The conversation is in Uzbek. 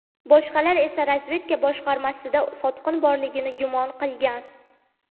Boshqalari esa razvedka boshqarmasida sotqin borligini gumon qilgan.